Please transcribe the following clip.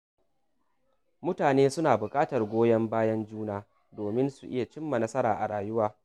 Mutane suna buƙatar goyon bayan juna domin su iya cin nasara a rayuwa.